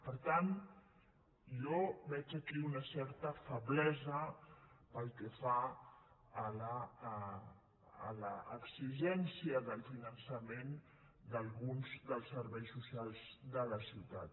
per tant jo veig aquí una certa feblesa pel que fa a l’exigència del finançament d’alguns dels serveis so·cials de la ciutat